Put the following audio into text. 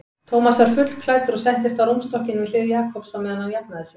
Thomas var fullklæddur og settist á rúmstokkinn við hlið Jakobs á meðan hann jafnaði sig.